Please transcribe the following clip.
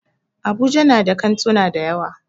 Abuja na da kantuna dayawa.